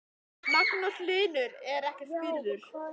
Magnús Hlynur: En er ekki skírður?